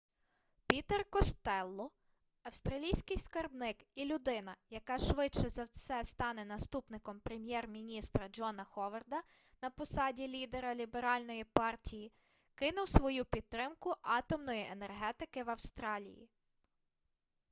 пітер костелло австралійський скарбник і людина яка швидше за все стане наступником прем'єр-міністра джона ховарда на посаді лідера ліберальної партії кинув свою підтримку атомної енергетики в австралії